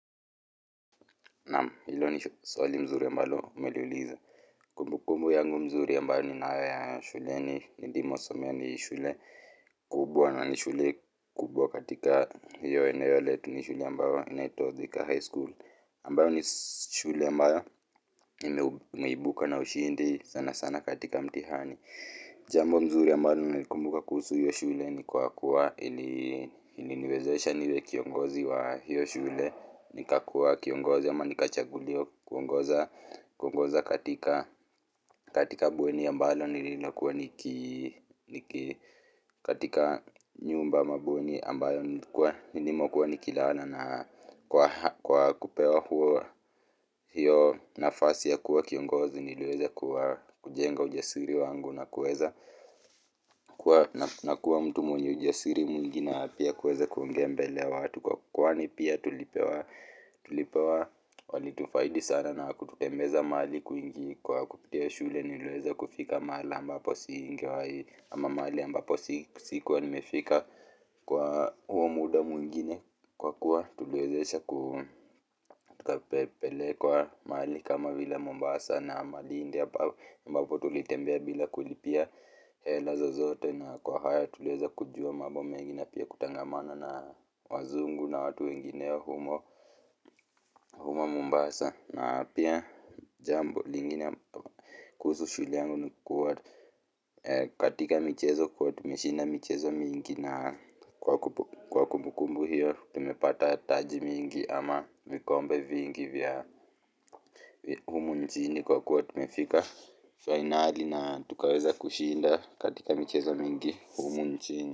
Naam, hilo ni swali mzuri mbalo umeliuliza. Kumbukumbu yangu mzuri ambayo ninayo ya shuleni nindimo somea ni shule kubwa na ni shule kubwa katika hiyo eneo letu ni shule ambayo inaituwa Thika high school. Ambayo ni shule ambayo imeibuka na ushindi sana sana katika mtihani. Jambo mzuri ambayo nimeikumbuka kuhusu hiyo shule ni kwa kuwa ili niwezesha niwe kiongozi wa hiyo shule. Nikakua kiongozi ama nikachaguliwa kuongoza kuongoza katika katika bweni ambalo nililokuwa niki niki katika nyumba ama bweni ambayo nilikuwa nilimokuwa niki lala na kwa kwa kupewa huo hiyo nafasi ya kuwa kiongozi niliweze kuwa kujenga ujasiri wangu na kuweza na kuwa mtu mwenye ujasiri mwingi na pia kuweza kuonge mbele watu kwa kwani pia tulipewa tulipewa walitufaidi sana na kututembeza maali kwingi kwa kupitia shule niliweza kufika mahali ambapo singewai ama mahali ambapo sikuwa nimefika kwa huo muda mwingine kwa kuwa tuliwezeshaku tuka pelekwa mahali kama vila Mombasa na Malindi ambapo tulitembea vila kulipia hela zozote na kwa hayotulieza kujua mambo mengine pia kutangamana na wazungu na watu wengineo humo humo Mombasa na pia jambo lingine kuhusu shule yangu nikuwa katika michezo kwa tumeshinda michezo mingi na kwa kumbukumbu hiyo. Tumepata taji mingi ama vikombe vingi vya humu nchini kwa kuwa tumefika fainali na tukaweza kushinda katika michezo mingi humu nchini.